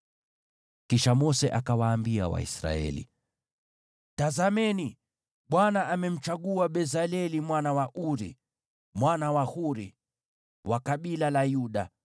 Kisha Mose akawaambia Waisraeli, “Tazameni, Bwana amemchagua Bezaleli mwana wa Uri, mwana wa Huri, wa kabila la Yuda,